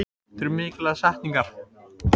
Ekkert minnst á sjávarútvegsmál